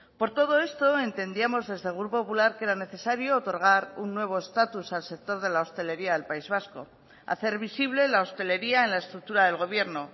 por todo esto entendíamos desde el grupo popular que era necesario otorgar un nuevo estatus al sector de la hostelería del país vasco hacer visible la hostelería en la estructura del gobierno